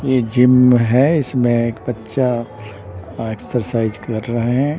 ये जिम्म है इसमें एक बच्चा अ एक्सरसाइज कर रहे है।